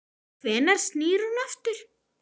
Hvenær snýr hún aftur?